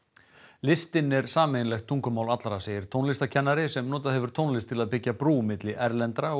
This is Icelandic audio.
listin er sameiginlegt tungumál allra segir tónlistarkennari sem notað hefur tónlist til að byggja brú milli erlendra og